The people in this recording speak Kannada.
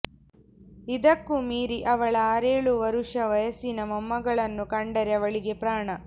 ಇದಕ್ಕೂ ಮೀರಿ ಅವಳ ಆರೇಳು ವರುಷ ವಯಸ್ಸಿನ ಮೊಮ್ಮಗಳನ್ನು ಕಂಡರೆ ಅವಳಿಗೆ ಪ್ರಾಣ